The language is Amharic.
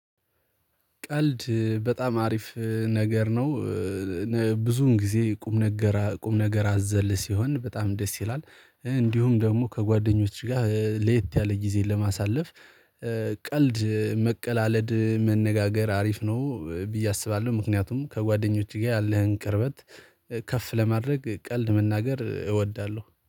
ቀልድ በጣም አሪፍ ነገር ነው። ብዙን ጊዜ ቁም ነገር አዘል ሲሆን በጣም ደስ ይላል። እንዲሁም ደግሞ ከጓደኞች ጋር ለየት ያለ ጊዜ ለማሳለፍ። ቀልድ መቀላለድ መነጋገር አሪፍ ነው ብዬ አስባለሁ። ምክንያቱም ከጓደኞችህ ጋር ያለህን ቅርበት ከፍ ለማድረግ ቀልድ መናገር እወዳለሁ